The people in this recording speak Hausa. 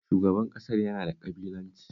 Shugaban ƙasar yana da ƙabilanci